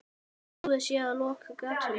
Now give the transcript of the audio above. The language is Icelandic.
Búið sé að loka gatinu.